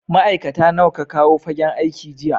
Ma'aikata nawa ka kawo fagen aiki jiya?